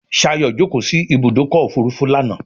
Shayo jókó sí Ibùdókọ̀ òfurufú lànà.